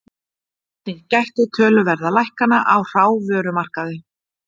Einnig gætti töluverða lækkana á hrávörumarkaði